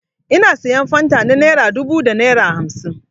Ina sayan fanta na naira dubu da naira hamsin.